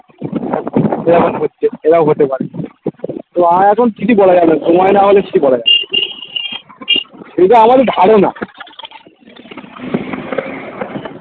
এরকম হচ্ছে এরম হতে পারে তো আমার এখন কিছু বলা যাবে না সময় না হলে কিছু বলা যাবে না যদিও আমাদের ধারণা